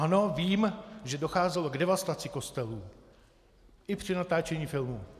Ano, vím, že docházelo k devastaci kostelů, i při natáčení filmu.